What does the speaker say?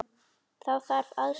Þá þarf aðstöðu í landi.